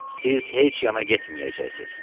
"Siz heç yana getməyəcəksiz.